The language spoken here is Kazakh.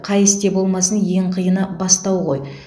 қай істе болмасын ең қиыны бастау ғой